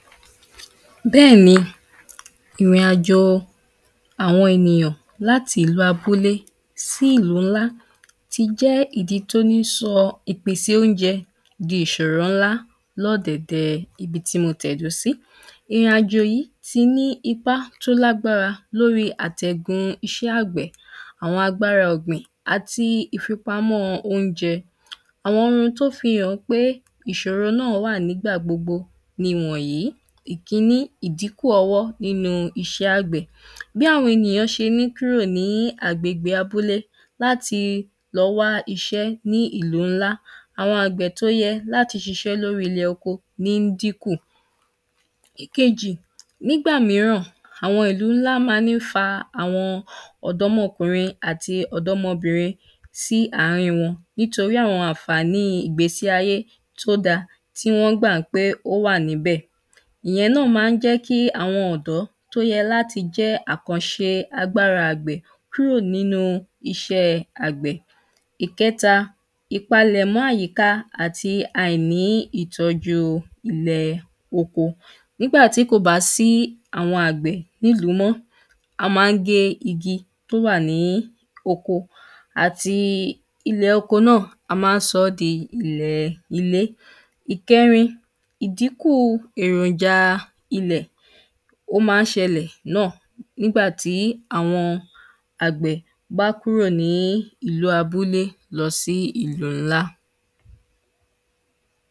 Bẹ́ ni ìrìn àjò awọn ènìyàn lati ìlú abúle si ìlù nlá tí jẹ́ ìdí tí o ni sọ ìpèsè ounjẹ́ di ìṣòro nlá lọ́dẹ̀dẹ́ ibi tí mo tẹ́ do sí. Ìrin àjò yìí tí ní ipá tó lágbára lóri atẹ̀gún iṣẹ́ àgbẹ̀ awọn agbára ọgbìn ati ìfipamọ́ ounjẹ. Awọn rohún tó fi hàn pé ìṣòro ná wà nígbà gbogbo ni wonyìí; ikíní, ìdíkù ọwọ́ nínu iṣẹ́ àgbẹ̀. Bí awọn enìyàn ṣé ni kúrò ní abúle lati lọ́ wa iṣẹ́ ní ìlú nlá awọn àgbẹ̀ tó yẹ́ lati ṣiṣẹ́ lori ìlẹ̀ oko ní díkùn. Ikéjì, nígbà míràn awọn ìlù nlá má ni fa awọn ọ̀dọ́mọkùnrín ati ọ̀dọ́mọbìnrín sí àárín wọn nítorí awọn ànfàní ìgbésí ayé tó da ti wọn gbá pe o wà ní bẹ, ìyẹ́n ná ma n jẹ́ ki awọn ọ̀dọ́ to yẹ́ lati ṣe àkánṣe agbára àgbẹ̀ kúrò nínu iṣẹ́ àgbẹ̀. ìkẹ́ta, ipálẹ̀mọ ayíká ati àiní ìtọ́jú ilẹ̀ oko, nigba tí kò bá sí awọn àgbẹ̀ nílù mọ́ a má n gé igi tó wa ní oko ati ilẹ̀ oko náa a má n só di ilẹ̀ ilé. ìkẹ́rin, ìdíkùn erònja ilẹ̀ o má n ṣẹ lẹ̀ náa nígbà tí awọn àgbẹ̀ bá kúrò ní ìlú abúle lọ sí ìlù nlá.